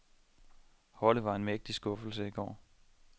Holdet var en mægtig skuffelse i går.